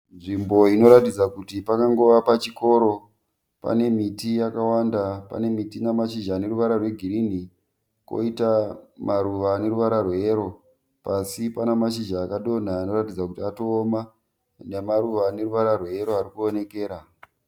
Nzvimbo inoratidza kuti pangangova pachikoro. Pane miti yakawanda ,pane miti ine mashizha ane ruvara rwegirini koita maruva ane ruvara rweyero. Pasi pane mashizha akadonha anoratidza kuti atooma namaruva ane ruvara rweyero arikuwonekera.